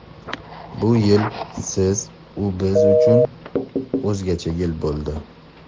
Bu yil siz-u biz uchun o‘zgacha yil bo‘ldi.